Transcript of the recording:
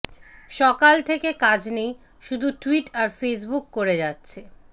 সকাল থেকে কাজ নেই শুধু টুইট আর ফেসবুক করে যাচ্ছে